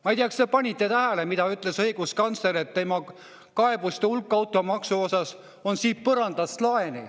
Ma ei tea, kas te panite tähele, mida ütles õiguskantsler: temani jõudnud automaksuga seotud kaebuste hulk on põrandast laeni.